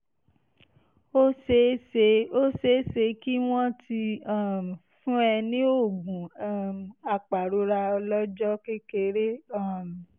ó ṣeé ṣe ó ṣeé ṣe kí wọ́n ti um fún ẹ ní oògùn um apàrora ọlọ́jọ́ kékeré um